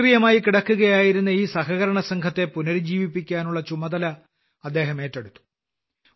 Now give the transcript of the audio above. നിഷ്ക്രിയമായി കിടക്കുകയായിരുന്ന ഈ സഹകരണസംഘത്തെ പുനരുജ്ജീവിപ്പിക്കാനുള്ള ചുമതല അദ്ദേഹം ഏറ്റെടുത്തു